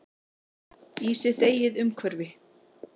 Í sitt eigið umhverfi.